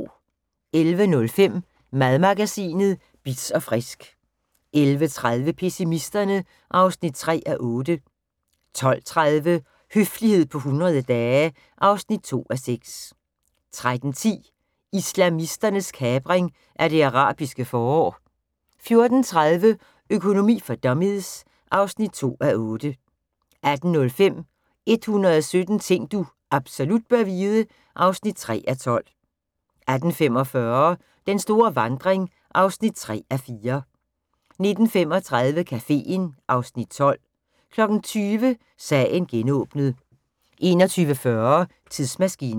11:05: Madmagasinet Bitz & Frisk 11:30: Pessimisterne (3:8) 12:30: Høflighed på 100 dage (2:6) 13:10: Islamisternes kapring af det arabiske forår 14:30: Økonomi for dummies (2:8) 18:05: 117 ting du absolut bør vide (3:12) 18:45: Den store vandring (3:4) 19:35: Caféen (Afs. 12) 20:00: Sagen genåbnet 21:40: Tidsmaskinen